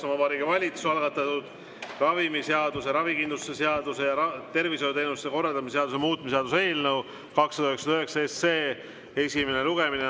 Vabariigi Valitsuse algatatud ravimiseaduse, ravikindlustuse seaduse ja tervishoiuteenuste korraldamise seaduse muutmise seaduse eelnõu 299 esimene lugemine.